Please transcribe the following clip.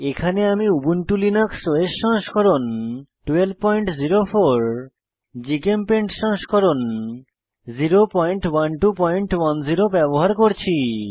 এখানে আমি Ubuntu Linux OS সংস্করণ 1204 জিচেমপেইন্ট সংস্করণ 01210 ব্যবহার করছি